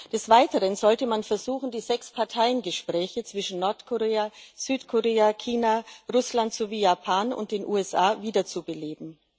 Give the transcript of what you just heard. Des Weiteren sollte man versuchen, die Sechs Parteien Gespräche zwischen Nordkorea, Südkorea, China, Russland sowie Japan und den USA wieder zu beleben.